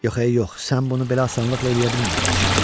Yox, yox, sən bunu belə asanlıqla eləyə bilməyəcəksən.